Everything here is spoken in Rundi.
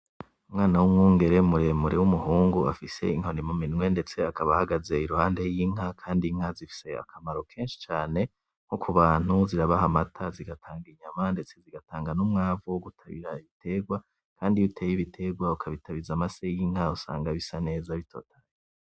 Umwana w’umwungere muremure wumuhungu afise inkoni muminwe ndetse akaba ahagaze iruhande y'inka kandi inka zifise akamaro kenshi cane nkokubantu zirabaha amata zigatanga inyama ndetse zigatanga numwavu wogutabira ibitegwa kandi iyo uteye ibitegwa ukabitabiza amase y’inka usanga bisaneza bitotahaye.